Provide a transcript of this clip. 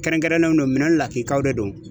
Kɛrɛnkɛrɛnnenw don, minɛn lakikaw de don.